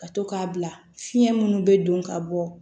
Ka to k'a bila fiɲɛ munnu bɛ don ka bɔ